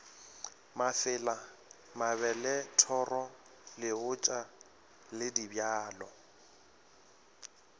mafela mabelethoro leotša le dibjalo